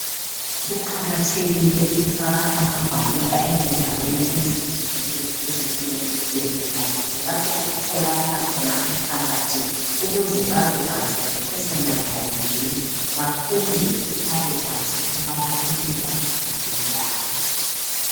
Kuqakathekile ukufaka amagwaliba ezindaweni ezitshiyeneyo ezinjenge zibhedlela kumbe lapho okutholakala khona umphakathi ukuze babekwazi nge personal hygiene . Bafunde babekwazi ukubana kumele baziphathe njani .